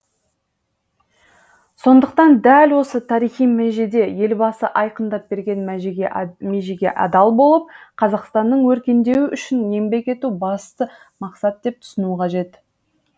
сондықтан дәл осы тарихи межеде елбасы айқындап берген межеге адал болып қазақстанның өркендеуі үшін еңбек ету басты мақсат деп түсіну қажет